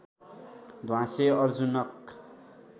ध्वाँसे अर्जुनक